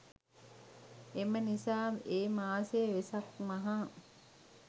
එම නිසා ඒ මාසය වෙසක් මහ